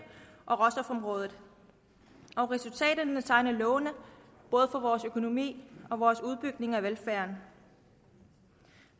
og råstofområdet og resultaterne tegner lovende både for vores økonomi og vores udbygning af velfærden